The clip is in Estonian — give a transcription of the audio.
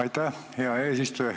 Aitäh, hea eesistuja!